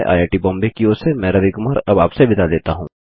IIT Bombay की ओर से मैं रवि कुमार अब आप से विदा लेता हूँ